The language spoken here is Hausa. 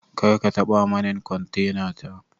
karkatabanin kontena ta